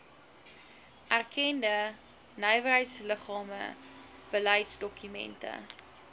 erkende nywerheidsliggame beleidsdokumente